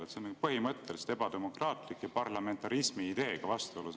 See seisukoht on põhimõtteliselt ebademokraatlik ja parlamentarismi ideega vastuolus.